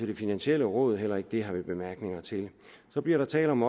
det finansielle råd heller ikke det har vi nogen bemærkninger til så bliver der talt om